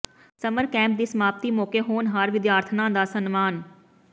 summer camp ਦੀ ਸਮਾਪਤੀ ਮੌਕੇ ਹੋਣਹਾਰ ਵਿਦਿਆਰਥਣਾਂ ਦਾ ਸਨਮਾਨ